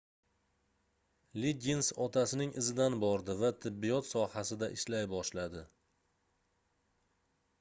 liggins otasining izidan bordi va tibbiyot sohasida ishlay boshladi